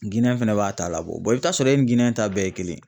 Giniyɛ fɛnɛ b'a ta labɔ , i bi t'a sɔrɔ e ni Giniyɛn ta bɛɛ ye kelen ye.